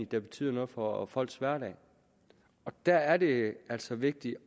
der betyder noget for folks hverdag der er det altså vigtigt